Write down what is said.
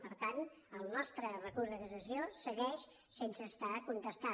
per tant el nostre recurs de cassació segueix sense estar contestat